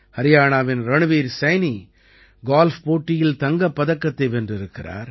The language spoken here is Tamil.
ஹரியாணாவின் ரண்வீர் சைனி கோல்ஃப் போட்டியில் தங்கப் பதக்கத்தை வென்றிருக்கிறார்